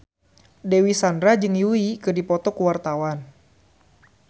Dewi Sandra jeung Yui keur dipoto ku wartawan